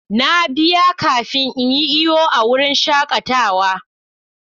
Na biya kafin in yi iyo a wurin shakatawa.